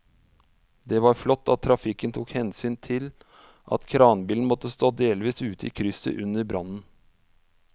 Det var flott at trafikken tok hensyn til at kranbilen måtte stå delvis ute i krysset under brannen.